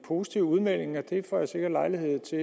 positive udmeldinger det får jeg sikkert lejlighed til